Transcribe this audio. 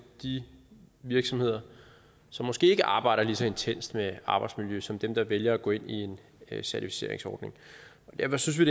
de virksomheder som måske ikke arbejder lige så intenst med arbejdsmiljø som dem der vælger at gå ind i en certificeringsordning derfor synes vi